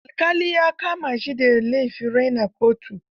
Alƙali ya kama shi da laifin raina kotu.